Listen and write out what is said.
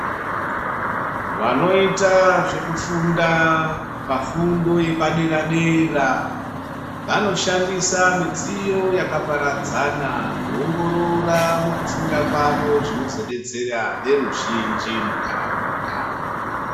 Vanoita zvekufunda pafundo yepadera dera vanoshandisa midziyo yakaparadzana kuongorora mukufunda kwavo zvinozodetsera weruzhinji munharaunda.